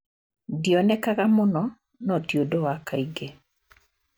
Ndionekanaga mũno no ti ũndu wa kaingĩ.